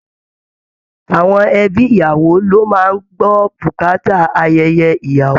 Àwọn ẹ̀bí ìyàwó ló má a ń gbọ́ bùkátà ayẹyẹ ìyàwó